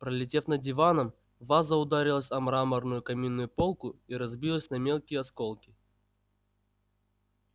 пролетев над диваном ваза ударилась о мраморную каминную полку и разбилась на мелкие осколки